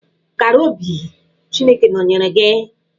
Kara obi, Chineke nọnyeere gị.